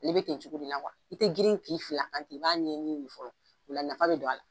A le be ten cogo de la i te girin k'i fili a kan ten , i b'a ɲɛ ɲini de fɔlɔ . O la nafa be don a la.